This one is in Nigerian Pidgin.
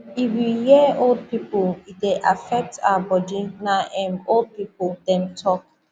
if u dey hear old people e dey affect our body na em old people dem talk